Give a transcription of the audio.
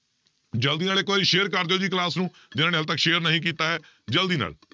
ਜ਼ਲਦੀ ਨਾਲ ਇੱਕ ਵਾਰੀ share ਕਰ ਦਿਓ ਜੀ class ਨੂੰ ਜਿਹਨਾਂ ਨੇ ਹਾਲੇ ਤੱਕ share ਨਹੀਂ ਕੀਤਾ ਹੈ ਜ਼ਲਦੀ ਨਾਲ।